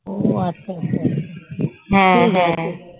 ও আচ্ছা আচ্ছা হ্যাঁ হ্যাঁ